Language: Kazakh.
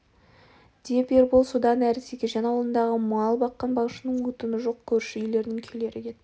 деп ербол содан әрі тәкежан аулындағы мал баққан малшының отыны жоқ көрші үйлердің күйлері кетті